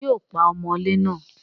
ṣé yóò pa ọmọlé náà?